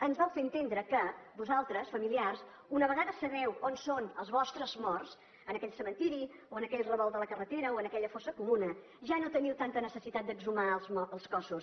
ens vau fer entendre que vosaltres familiars una vegada sabeu on són els vostres morts en aquell cementiri o en aquell revolt de la carretera o en aquella fossa comuna ja no teniu tanta necessitat d’exhumar els cossos